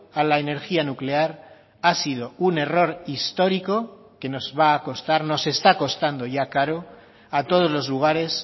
a la energía nuclear ha sido un error histórico que nos va a costar nos está costando ya caro a todos los lugares